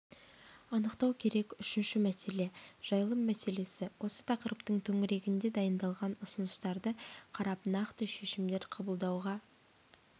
анықтау керек үшінші мәселе жайылым мәселесі осы тақырыптың төңірегінде дайындалған ұсыныстарды қарап нақты шешімдер қабылдауға